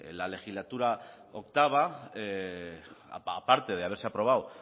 la legislatura octavo aparte de haberse aprobado